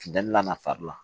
Finteni na na fari la